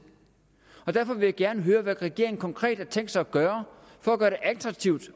har taget derfor vil jeg gerne høre hvad regeringen konkret har tænkt sig at gøre for at gøre det attraktivt